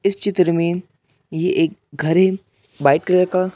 इस चित्र में ये एक घर है वाइट कलर का--